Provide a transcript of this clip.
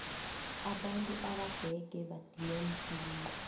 abantu abadege badinwa msinya